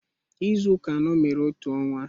Izu ụka anọ mere otu ọnwa